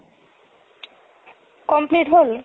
complete হ'ল